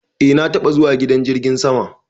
Eh na taba zuwa gidan jirgin sama.